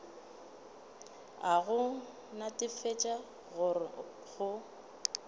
a go netefatša gore go